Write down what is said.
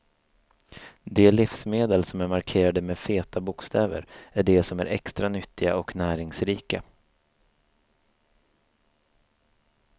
De livsmedel som är markerade med feta bokstäver är de som är extra nyttiga och näringsrika.